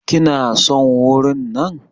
Kina son wurin nan?